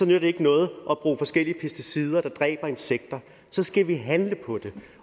nytter ikke noget at der dræber insekter så skal vi handle på det